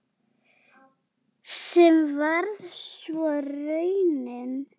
Sem varð svo raunin.